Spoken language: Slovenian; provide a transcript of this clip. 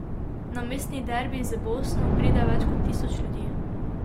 Na mestni derbi z Bosno pride več kot tisoč ljudi.